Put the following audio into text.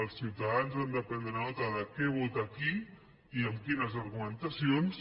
els ciutadans han de prendre nota de què vota qui i amb quines argumentacions